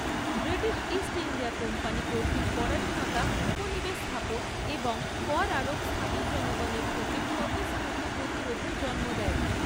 British East India Company কর্তৃক পরাধীনতা, উপনিবেশ স্থাপন এবং কর আরোপ স্থানীয় জনগণের থেকে স্বতঃস্ফূর্ত প্রতিরোধের জন্ম দেয়।